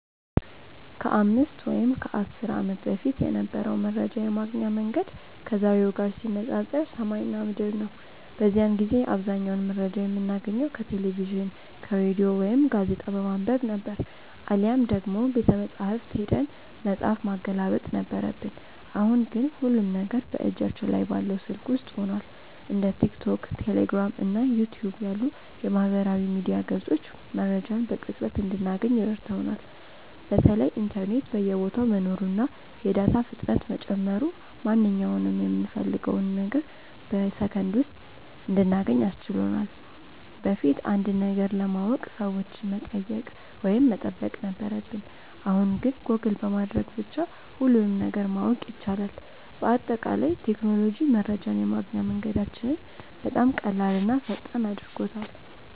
ከ5 ወይም ከ10 ዓመት በፊት የነበረው መረጃ የማግኛ መንገድ ከዛሬው ጋር ሲነፃፀር ሰማይና ምድር ነው። በዚያን ጊዜ አብዛኛውን መረጃ የምናገኘው ከቴሌቪዥን፣ ከሬዲዮ ወይም ጋዜጣ በማንበብ ነበር፤ አሊያም ደግሞ ቤተመጻሕፍት ሄደን መጽሐፍ ማገላበጥ ነበረብን። አሁን ግን ሁሉም ነገር በእጃችን ላይ ባለው ስልክ ውስጥ ሆኗል። እንደ ቲክቶክ፣ ቴሌግራም እና ዩቲዩብ ያሉ የማህበራዊ ሚዲያ ገጾች መረጃን በቅጽበት እንድናገኝ ረድተውናል። በተለይ ኢንተርኔት በየቦታው መኖሩና የዳታ ፍጥነት መጨመሩ ማንኛውንም የምንፈልገውን ነገር በሰከንድ ውስጥ እንድናገኝ አስችሎናል። በፊት አንድን ነገር ለማወቅ ሰዎችን መጠየቅ ወይም መጠበቅ ነበረብን፣ አሁን ግን ጎግል በማድረግ ብቻ ሁሉንም ነገር ማወቅ ይቻላል። በአጠቃላይ ቴክኖሎጂ መረጃን የማግኛ መንገዳችንን በጣም ቀላልና ፈጣን አድርጎታል።